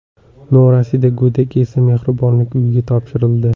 Norasida go‘dak esa mehribonlik uyiga topshirildi.